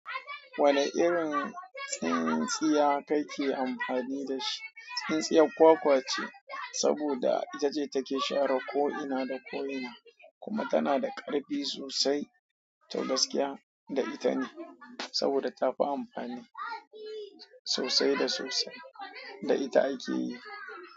Wane irin tsintsiya kake amfani da shi? Tsintsiyar kwakwa ce, saboda ita ce take share ko'ina da ko'ina, kuma tana da ƙarfi sosai. Tau gaskiya, da ita ne, saboda tafi amfani sosai da sosai, da ita ake yi.